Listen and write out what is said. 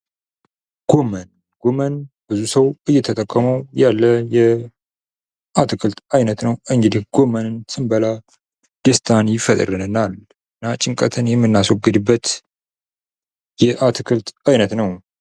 ጎመን ፦ ጎመን ብዙ ሰው እየተጠቀመው ያለ የአትክልት አይነት ነው ። እንግዲህ ጎመንን ስንበላ ደስታን ይፈጥርልናል ። እና ጭንቀትን የምናስወግድበት የአትክልት አይነት ነው ።